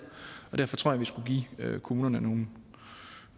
og derfor tror jeg vi skulle give kommunerne